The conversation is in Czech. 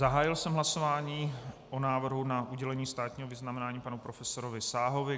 Zahájil jsem hlasování o návrhu na udělení státního vyznamenání panu profesorovi Sáhovi.